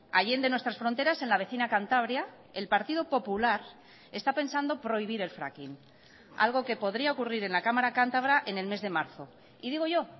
allende nuestras fronteras en la vecina cantabria el partido popular está pensando prohibir el fracking algo que podría ocurrir en la cámara cantabra en el mes de marzo y digo yo